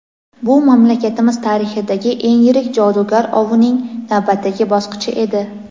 Bu mamlakatimiz tarixidagi eng yirik jodugar ovining navbatdagi bosqichi edi.